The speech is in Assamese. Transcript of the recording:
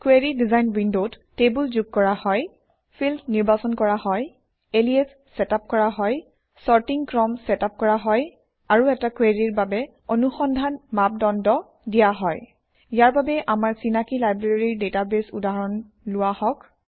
কুৱেৰি ডিজাইন উইণ্ডত টেবুল যোগ কৰা হয় ফিল্ড নিৰ্বাচন কৰা হয় এলিয়াচ চেটআপ কৰা হয় চৰ্টিং ক্ৰম চেটআপ কৰা হয় আৰু এটা কুৱেৰিৰ বাবে অনুসন্ধান মাপ দন্দ দিয়া হয় ইয়াৰ বাবে আমাৰ চিনাকি লাইব্ৰেৰী ডাটাবেছ উদাহৰণ লোৱা যাওক